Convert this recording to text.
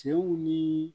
Cɛw ni